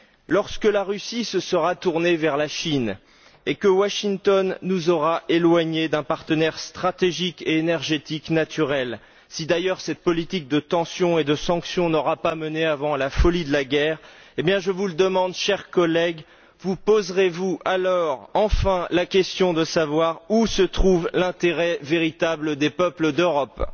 Lorsque la Russie se sera tournée vers la Chine et que Washington nous aura éloignés d'un partenaire stratégique et énergétique naturel, si d'ailleurs cette politique de tension et de sanction n'a pas mené, avant, à la folie de la guerre, eh bien je vous le demande, chers collègues, vous poserez vous alors enfin la question de savoir où se trouve l'intérêt véritable des peuples d'Europe?